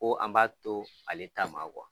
Ko an b'a to ale ta ma kuwa